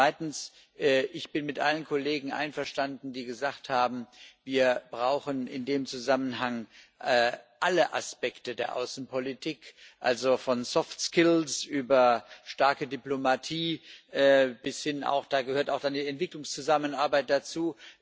Zweitens bin ich mit allen Kollegen einverstanden, die gesagt haben, wir brauchen in dem Zusammenhang alle Aspekte der Außenpolitik, also von soft skills über starke Diplomatie, und da gehört dann auch die Entwicklungszusammenarbeit dazu.